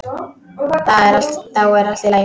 Þá er allt í lagi.